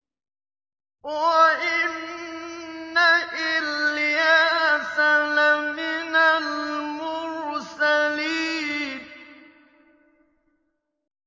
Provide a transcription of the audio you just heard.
وَإِنَّ إِلْيَاسَ لَمِنَ الْمُرْسَلِينَ